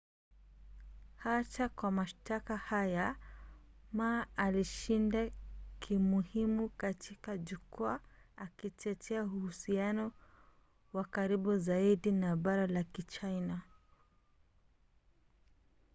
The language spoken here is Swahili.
hata kwa mashtaka haya ma alishinda kimuhimu katika jukwaa akitetea uhusiano wa karibu zaidi na bara la kichina